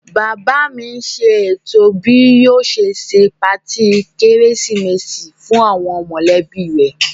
Bàbá mi n ṣètò bí yóò ṣe se patí kérésìmesì fún àwọn mọ̀lẹ́bí rẹ̀